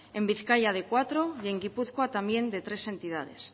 en bizkaia de cuatro y en gipuzkoa también de tres entidades